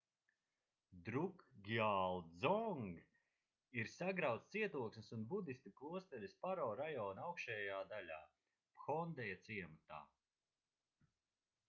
drukgyal dzong ir sagrauts cietoksnis un budistu klosteris paro rajona augšējā daļā phondeja ciematā